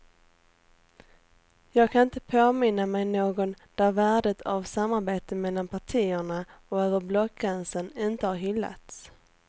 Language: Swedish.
Jag kan inte påminna mig någon där värdet av samarbete mellan partierna och över blockgränsen inte har hyllats.